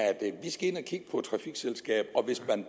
vi skal ind og kigge på et trafikselskab og hvis man